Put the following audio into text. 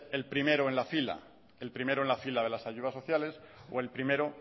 el primero en la fila el primero en la fila de las ayudas sociales o el primero